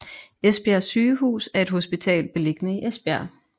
Esbjerg Sygehus er et hospital beliggende i Esbjerg